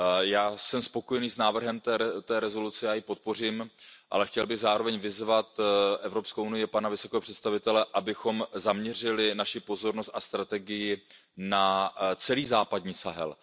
Já jsem spokojený s návrhem rezoluce, já ji podpořím, ale chtěl bych zároveň vyzvat Evropskou unii, pana vysokého představitele, abychom zaměřili naši pozornost a strategii na celý západní Sahel.